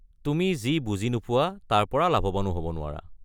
তুমি যি বুজি নোপোৱা তাৰ পৰা লাভৱানো হ’ব নোৱাৰা।